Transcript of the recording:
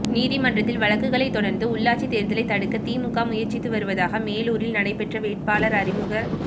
நீதிமன்றத்தில் வழக்குகளை தொடா்ந்து உள்ளாட்சித் தோ்தலை தடுக்க திமுக முயற்சித்து வருவதாக மேலூரில் நடைபெற்ற வேட்பாளா் அறிமுகக்